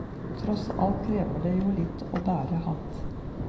Tross alt krever det jo litt å bære hatt.